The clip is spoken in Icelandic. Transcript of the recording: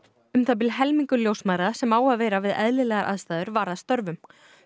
um það bil helmingur ljósmæðra sem á að vera við eðlilegar aðstæður var að störfum